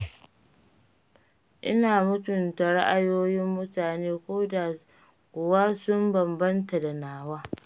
Ina mutunta ra'ayoyin mutane ko da kuwa sun bambanta da nawa.